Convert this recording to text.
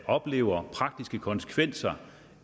oplever praktiske konsekvenser